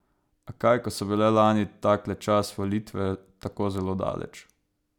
A kaj, ko so bile lani takle čas volitve tako zelo daleč.